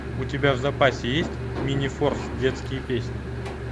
у тебя в запасе есть мини форс детские песни